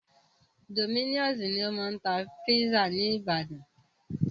Dominos ni o máa ń tá pizza ní ìbàdàn.